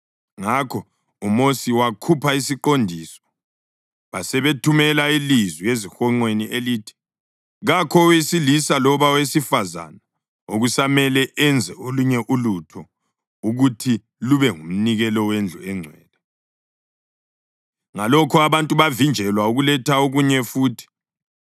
Ngakho uMosi wakhupha isiqondiso basebethumela ilizwi ezihonqweni elithi, “Kakho owesilisa loba owesifazane okusamele enze olunye ulutho ukuthi lube ngumnikelo wendlu engcwele.” Ngalokho abantu bavinjelwa ukuletha okunye futhi,